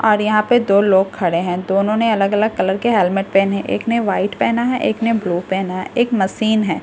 और यहां पे दो लोग खड़े हैं दोनों ने अलग अलग कलर के हेलमेट पहने एक ने व्हाइट पहना है एक ने ब्लू पहना है एक मशीन है।